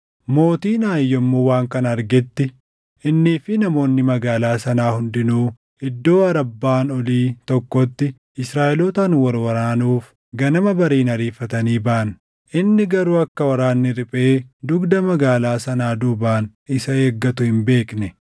Mootiin Aayi yommuu waan kana argetti, innii fi namoonni magaalaa sanaa hundinuu iddoo Arabbaan olii tokkotti Israaʼelootaan wal waraanuuf ganama bariin ariifatanii baʼan. Inni garuu akka waraanni riphee dugda magaalaa sanaa duubaan isa eeggatu hin beekne.